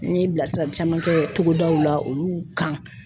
N ye bilasirali caman kɛ togodaw la olu kan